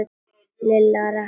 Lilla rankaði við sér.